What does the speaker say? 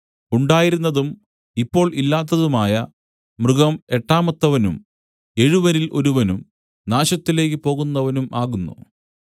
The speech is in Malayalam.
ഉണ്ടായിരുന്നതും ഇപ്പോൾ ഇല്ലാത്തതുമായ മൃഗം എട്ടാമത്തവനും എഴുവരിൽ ഒരുവനും നാശത്തിലേക്കു പോകുന്നവനും ആകുന്നു